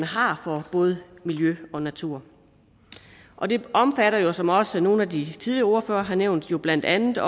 har for både miljø og natur og det omfatter jo som også nogle af de tidligere ordførere har nævnt blandt andet